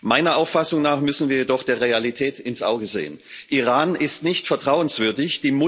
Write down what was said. Meiner Auffassung nach müssen wir jedoch der Realität ins Auge sehen Iran ist nicht vertrauenswürdig.